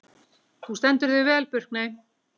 Þú stendur þig vel, Burkney!